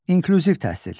İnklüziv təhsil.